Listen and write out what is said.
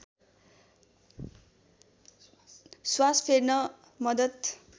श्वास फेर्न मद्दत